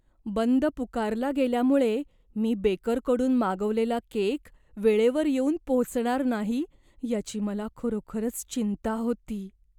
बंद पुकारला गेल्यामुळे मी बेकरकडून मागवलेला केक वेळेवर येऊन पोचणार नाही, याची मला खरोखरच चिंता होती.